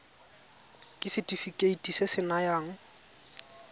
ke setefikeiti se se nayang